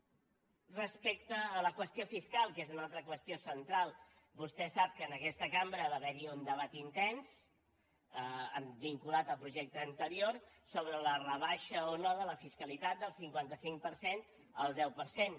respecte a la qüestió fiscal que és una altra qüestió central vostè sap que en aquesta cambra va haver hi un debat intens vinculat al projecte anterior sobre la rebaixa o no de la fiscalitat del cinquanta cinc per cent al deu per cent